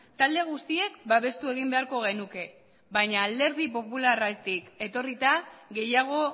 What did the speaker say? talde guztiek babestu egin beharko genuke baina alderdi popularretik etorrita gehiago